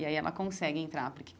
E aí ela consegue entrar porque.